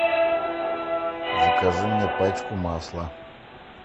закажи мне пачку масла